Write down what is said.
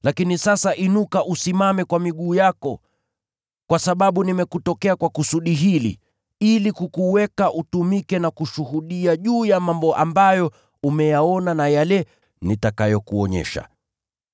Sasa inuka usimame kwa miguu yako. Nimekutokea ili nikuteue uwe mtumishi na shahidi wa mambo ambayo umeyaona, na yale nitakayokuonyesha.